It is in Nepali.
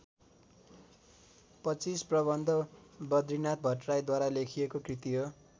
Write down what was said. पच्चीस प्रबन्ध बदरीनाथ भट्टराईद्वारा लेखिएको कृति हो।